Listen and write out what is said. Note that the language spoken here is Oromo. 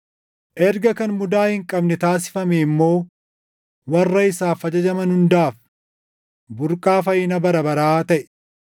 erga kan mudaa hin qabne taasifamee immoo warra isaaf ajajaman hundaaf burqaa fayyina bara baraa taʼe.